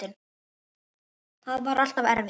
Það var alltaf erfitt.